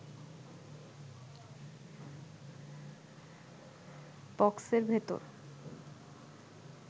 বক্সের ভেতর